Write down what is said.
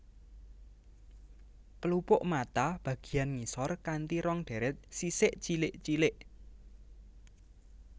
Pelupuk mata bagiyan ngisor kanti rong deret sisik cilik cilik